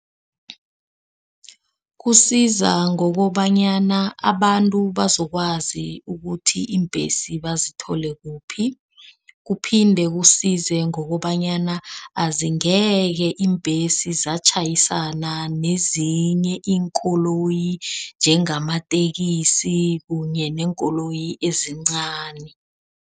Kusiza ngokobanyana abantu bazokwazi ukuthi iimbhesi bazithole kuphi. Kuphinde kusize ngokobanyana na azingeke iimbhesi zatjhayisana nezinye iinkoloyi njenge bamatekisi kunye neenkoloyi ezincani.